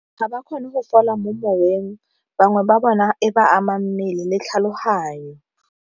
Ga ba kgone go fola mo moweng, bangwe ba bona e ba ama mmele le tlhaloganyo.